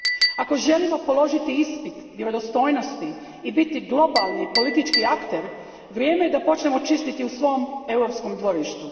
Ako želimo položiti ispit vjerodostojnosti i biti globalni politički akter, vrijeme je da počnemo čistiti u svom europskom dvorištu.